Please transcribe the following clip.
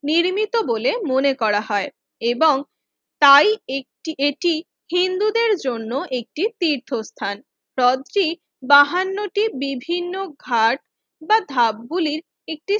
নির্মিত বলে মনে করা হয় এবং তাই এটি হিন্দুদের জন্য একটি তীর্থস্থান হ্রদ টি বাহান্নটি বিভিন্ন ঘাট বা ধাপ গুলি